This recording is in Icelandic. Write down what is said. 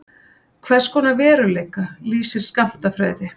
Hvers konar veruleika lýsir skammtafræði?